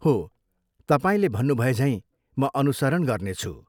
हो, तपाईँले भन्नुभएझैँ म अनुसरण गर्नेछु।